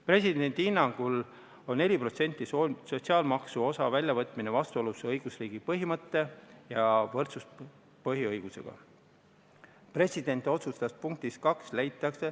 Presidendi hinnangul on 4% sotsiaalmaksu osa väljavõtmine vastuolus õigusriigi põhimõtte ja võrdsuspõhiõigusega.